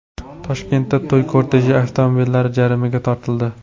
Toshkentda to‘y korteji avtomobillari jarimaga tortildi.